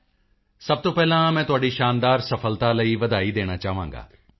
ਮੋਦੀ ਜੀ ਸਭ ਤੋਂ ਪਹਿਲਾਂ ਮੈਂ ਤੁਹਾਡੀ ਸ਼ਾਨਦਾਰ ਸਫਲਤਾ ਲਈ ਵਧਾਈ ਦੇਣਾ ਚਾਹਾਂਗਾ